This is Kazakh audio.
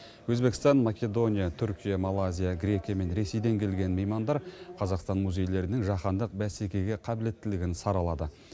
өзбекстан македония түркия малайзия грекия мен ресейден келген меймандар қазақстан музейлерінің жаһандық бәсекеге қабілеттілігін саралады